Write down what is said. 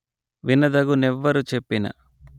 వినదగు నెవ్వరు జెప్పిన